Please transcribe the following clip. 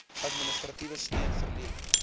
administratiewe steun verleen